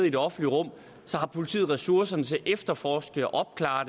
i det offentlige rum har politiet ressourcerne til at efterforske og opklare